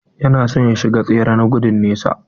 Yana son ya shiga tsere na dogon nesa.